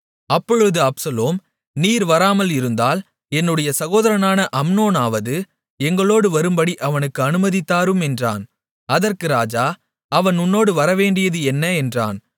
அப்பொழுது அப்சலோம் நீர் வராமல் இருந்தால் என்னுடைய சகோதரனான அம்னோனாவது எங்களோடு வரும்படி அவனுக்கு அனுமதி தாரும் என்றான் அதற்கு ராஜா அவன் உன்னோடு வரவேண்டியது என்ன என்றான்